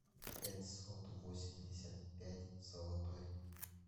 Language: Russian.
пятьсот восемьдесят пять золотой